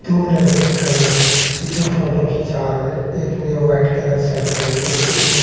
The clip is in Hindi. दो लड़के खड़े है जो फोटो खींचा रहें एक ने व्हाइट कलर शर्ट पहनी है एक ने--